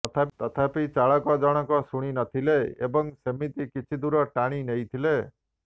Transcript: ତଥାପି ଚାଳକ ଜଣକ ଶୁଣିନଥିଲେ ଏବଂ ସେମିତି କିଛି ଦୂର ଟାଣିନେଇଥିଲେ